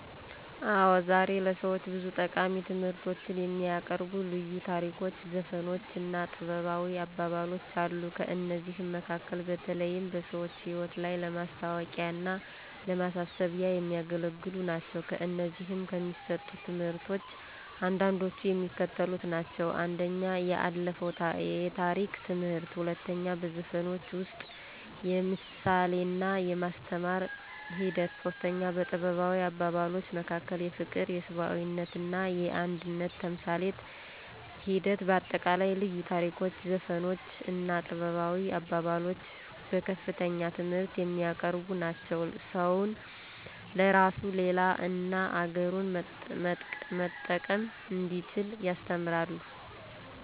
አዎ ዛሬ ለሰዎች ብዙ ጠቃሚ ትምህርቶችን የሚያቀርቡ ልዩ ታሪኮች ዘፈኖች እና ጥበባዊ አባባሎች አሉ። ከእነዚህም መካከል በተለይም በሰዎች ህይወት ላይ ለማስታዎቂያና ለማሳሰቢያ የሚያገለግሉ ናቸው። ከእነዚህም ከሚሰጡት ትምህርቶች አንዳንዶቹ የሚከተሉት ናቸው፦ 1. የአለፋው የታሪክ ትምህርት 2. በዘፈኖች ውስጥ የምሳሌና የማስተማር ሒደት 3. በጥበባዊ አባባሎች መካከል የፍቅር የሰብአዊነትና የአንድነት ተምሳሌት ሒደት በአጠቃላይ ልዩ ታሪኮች ዘፈኖች እና ጥበባዊ አባባሎች በከፍተኛ ትምህርት የሚያቀርቡ ናቸው። ሰውን ለራሱ ለሌላ እና አገሩን መጠቀም እንዲችል ያስተምራሉ።